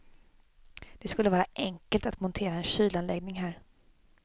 Det skulle vara enkelt att montera en kylanläggning här.